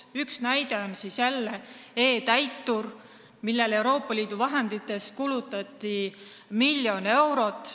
Üks näide on toosama e-Täitur, millele Euroopa Liidu vahenditest kulutati miljon eurot.